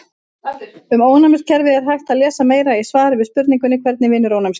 Um ónæmiskerfið er hægt að lesa meira í svari við spurningunni Hvernig vinnur ónæmiskerfið?